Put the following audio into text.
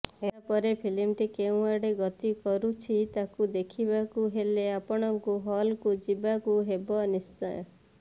ଏହାପରେ ଫିଲ୍ମଟି କେଉଁ ଆଡେ ଗତି କରୁଛି ତାକୁ ଦେଖିବାକୁ ହେଲେ ଆପଣଙ୍କୁ ହଲ୍କୁ ଯିବାକୁ ହେବ ନିଶ୍ଚୟ